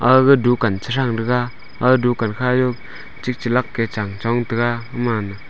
aga dukan trachang taga aga dukan ka jao tikla lak ke chong taga.